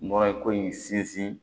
Nɔrɔ ko in sinsin